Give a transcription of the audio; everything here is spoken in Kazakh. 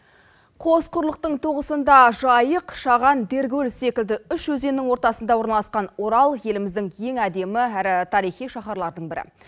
қос құрлықтың тоғысында жайық шаған деркөл секілді үш өзеннің ортасында орналасқан орал еліміздің ең әдемі әрі тарихи шаһарлардың бірі